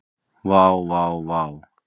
Vá vá vá.